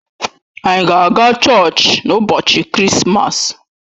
Ànyị ga-aga chọọchị n'ụbọchị Krismas?